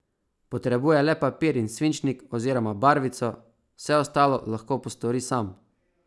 Potrebuje le papir in svinčnik oziroma barvico, vse ostalo lahko postori sam.